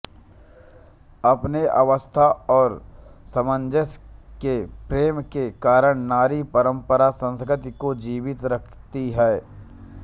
अपने व्यवस्था और सामंजस्य के प्रेम के कारण नारी परम्परा संस्कृति को जीवित रखती है